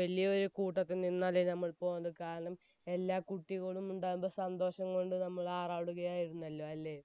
വലിയൊരു കൂട്ടത്തിൽ നിന്നല്ലേ നമ്മൾ പോന്നത്. കാരണം എല്ലാ കുട്ടികളും ഉണ്ടായിരുന്നു. അതിന്റെ സന്തോഷം കൊണ്ട് നമ്മൾ ആറാടുകയായിരുന്നല്ലോ അല്ലേ?